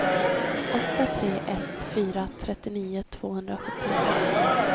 åtta tre ett fyra trettionio tvåhundrasjuttiosex